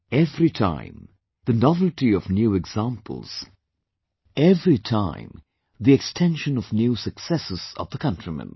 Every time, the novelty of new examples, every time the extension of new successes of the countrymen